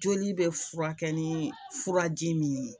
Joli bɛ furakɛ ni furaji min ye